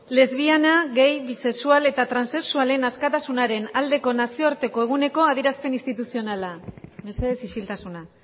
lesbiana gay bisexual eta transexualen askatasunaren aldeko nazioarteko eguneko adieraspen instituzionala mesedez isiltasuna